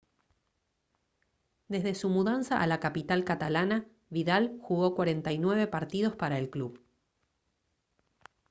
desde su mudanza a la capital catalana vidal jugó 49 partidos para el club